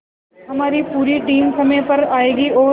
हमारी पूरी टीम समय पर आएगी और